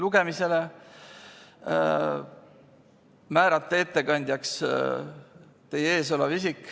Teiseks, määrata ettekandjaks teie ees olev isik.